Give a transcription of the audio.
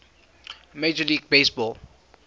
major league baseball